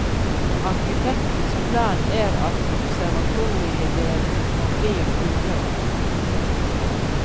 Arkitektens plan er at observatoriedelen forblir urørt.